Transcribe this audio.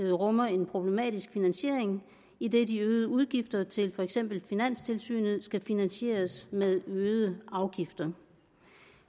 rummer en problematisk finansiering idet de øgede udgifter til for eksempel finanstilsynet skal finansieres med øgede afgifter